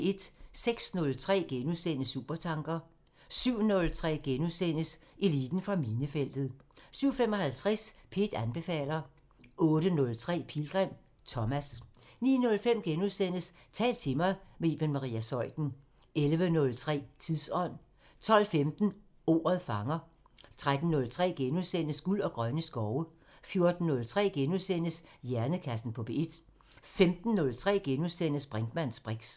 06:03: Supertanker * 07:03: Eliten fra minefeltet * 07:55: P1 anbefaler 08:03: Pilgrim – Thomas 09:05: Tal til mig – med Iben Maria Zeuthen * 11:03: Tidsånd 12:15: Ordet fanger 13:03: Guld og grønne skove * 14:03: Hjernekassen på P1 * 15:03: Brinkmanns briks *